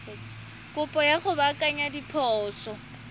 kopo ya go baakanya diphoso